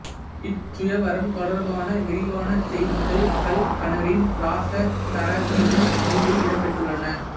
இச்சுயவரம் தொடர்பான விரிவான செய்திகள் கல்கனரின் இராசதரங்கினி நூலில் இடம்பெற்றுள்ளன